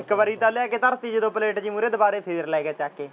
ਇੱਕ ਵਾਰੀ ਤਾਂ ਲਿਆ ਕੇ ਥਰਤੀ ਜਦੋਂ ਪਲੇਟ ਜਿਹੀ ਮੁਹਰੇ ਦੁਬਾਰੇ ਫੇਰ ਲੈ ਗਿਆ ਚੱਕ ਕੇ।